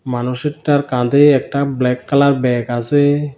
মানুষেরটার কাঁধে একটা black colour bag আসে।